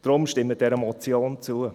Deshalb: Stimmen Sie dieser Motion zu.